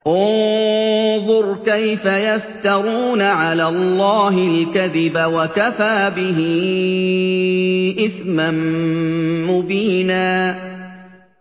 انظُرْ كَيْفَ يَفْتَرُونَ عَلَى اللَّهِ الْكَذِبَ ۖ وَكَفَىٰ بِهِ إِثْمًا مُّبِينًا